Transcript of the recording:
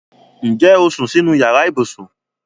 Ǹjẹ́ o sún sínú yàrá ibùsùn?